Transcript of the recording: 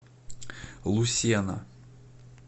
лусена